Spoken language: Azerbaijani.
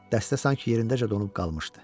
Dəstə sanki yerindəcə donub qalmışdı.